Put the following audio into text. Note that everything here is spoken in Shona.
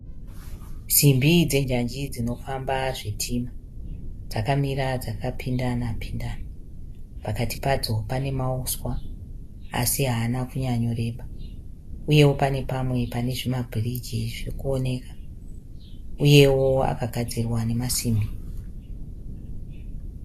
Simbi dzenjanji dzinofamba zvitima. Dzakamira dzakapindana pindana. Pakati padzo pane mahuswa asi haana kunyanyoreba uyewo pane pamwe pane zvimabhiriji zvirikuoneka uyewo akagadzirwa nemasimbi